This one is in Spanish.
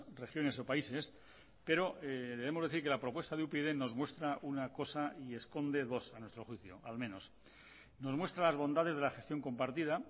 regiones o países pero debemos decir que la propuesta de upyd nos muestra una cosa y esconde dos a nuestro juicio al menos nos muestra las bondades de la gestión compartida